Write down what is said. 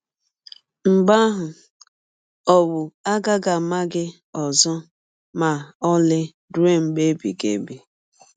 Mgbe ahụ, ọwụ agaghị ama gị ọzọ ma ọlị rụọ mgbe ebighị ebi.